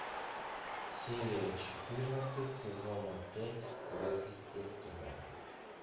серия четырнадцать сезона пять сверхъестественное